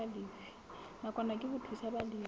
nakwana ke ho thusa balefi